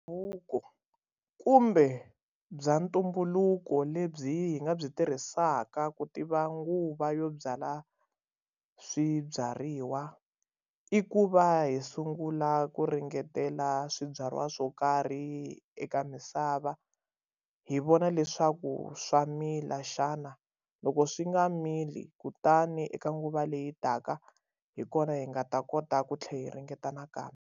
Buku kumbe bya ntumbuluko lebyi hi nga byi tirhisaka ku tiva nguva yo byala swibyariwa i ku va hi sungula ku ringetela swibyariwa swo karhi eka misava hi vona leswaku swa mila xana loko swi nga mili kutani eka nguva leyi taka hi kona hi nga ta kota ku tlhela hi ringeta nakambe.